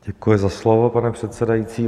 Děkuji za slovo, pane předsedající.